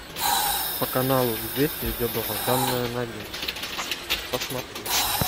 по каналу известия идет долгожданная новинка посмотреть